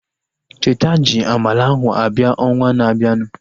Cheta ji amala ahu abịa ọnwa na-abianu